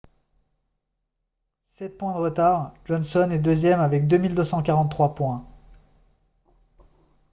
sept points de retard johnson est deuxième avec 2243 points